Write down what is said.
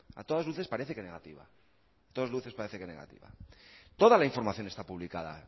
a todas luces parece que negativa a todas luces parece que negativa toda la información está publicada